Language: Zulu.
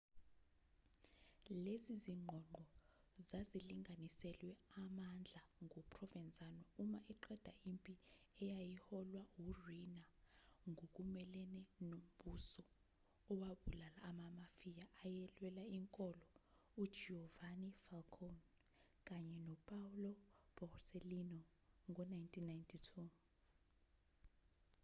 lezi zingqongqo zazilinganiselwe amandla nguprovenzano uma eqeda impi eyayiholwa uriina ngokumelene nombuso owabulala amamafia ayelwela inkolo ugiovanni falcone kanye nopaolo borsellino ngo-1992